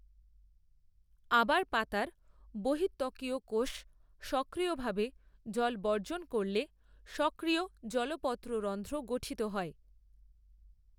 আবার পাতার বহিঃত্বকীয় কোষ সক্রিয়ভাবে জল বর্জন করলে সক্রিয় জলপত্ররন্ধ্র গঠিত হয়।